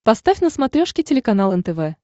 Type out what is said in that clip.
поставь на смотрешке телеканал нтв